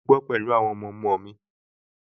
Mò ń gbé pẹ̀lú àwọn ọmọọmọ mi